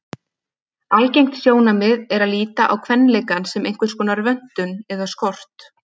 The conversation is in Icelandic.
Algengt sjónarmið er að líta á kvenleikann sem einhverskonar vöntun eða skort.